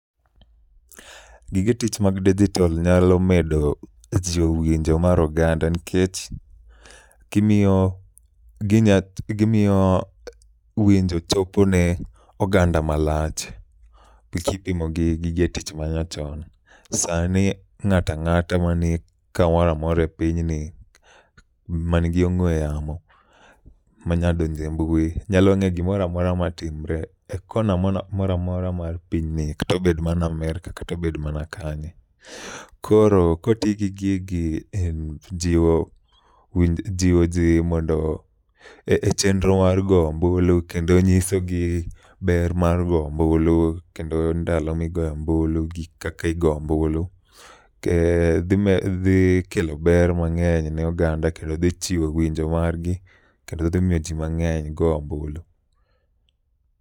Gige tich mag dijitol nyalo medo jiwo winjo mar oganda nikech gimiyo ginya gimiyo winjo chopo ne oganda malach, gi kipimo gi gige tich manyachon. Sani ng'ata ng'ata mani kamoramora e pinyni ma nigi ong'we yamo manya donje mbui, nyalo ng'e gimoramora ma timre e kona moramora mar pinyni. Katobed mana Amerka katobed mana kanye. Koro, koti gi gigi e jiwo winj, jiwo ji mondo e chendro mar go ombulu kendo nyisogi ber ma go ombulu. Kendo ndalo migoe ombulu gi kakigo ombulu, dhi kelo ber mang'eny ne oganda kendo dhi jiwo winjo margi. Kendo dhi miyo ji mang'eny go ombulu.